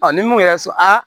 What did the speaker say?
ni mun yɛrɛ sɔn a